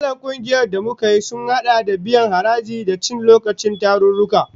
Matsalar kungiyar da muka yi sun hada da biyan haraji, da cin lokacin tarurruka